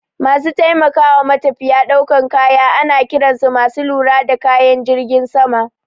Masu taimakawa matafiya daukan kaya ana kiran su masu lura da kayan jirgin sama.